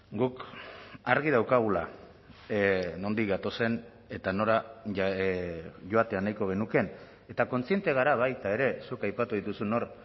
guk argi daukagula nondik gatozen eta nora joatea nahiko genukeen eta kontziente gara baita ere zuk aipatu dituzun hor